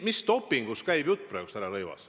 Mis dopingust käib jutt, härra Rõivas?